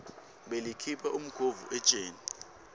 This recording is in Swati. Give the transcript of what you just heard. belikhipha umkhovu etjeni